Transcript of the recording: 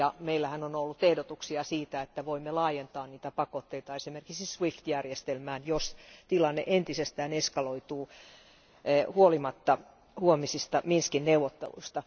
Ja meillähän on ollut ehdotuksia siitä, että voimme laajentaa pakotteita esimerkiksi Swift järjestelmään, jos tilanne entisestään eskaloituu huolimatta huomisista Minskin neuvotteluista.